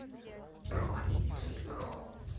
бронь кейк хоум